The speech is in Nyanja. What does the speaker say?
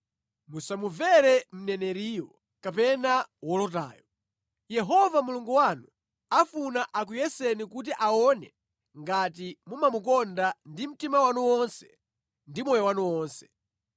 musamumvere mneneriyo kapena wolotayo. Yehova Mulungu wanu afuna akuyeseni kuti aone ngati mumamukonda ndi mtima wanu wonse ndi moyo wanu wonse.